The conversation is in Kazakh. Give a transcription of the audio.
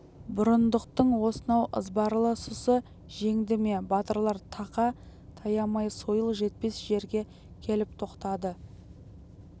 бұрындықтың осынау ызбарлы сұсы жеңді ме батырлар тақа таямай сойыл жетпес жерге келіп тоқтады